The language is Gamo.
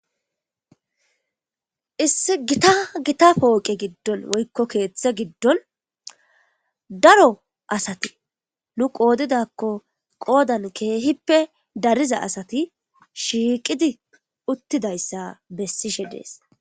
Issi gita gita pooqe giddon woykko keeththe giddon daro asati nu qoodidakko qoodan keehippe dariza asati shiiqidi uttidayssa bessishe dees.